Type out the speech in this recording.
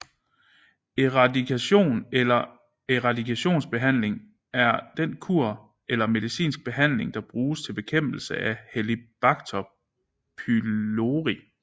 Eradikation eller eradikationsbehandling er den kur eller medicinske behandling der bruges til bekæmpelse af Helicobacter pylori